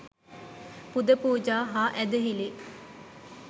පුද පූජා හා ඇදහිලි